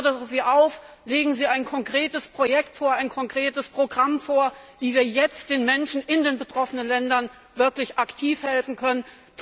Ich fordere Sie auf Legen Sie ein konkretes Projekt, ein Programm vor, wie wir jetzt den Menschen in den betroffenen Ländern wirklich aktiv helfen können.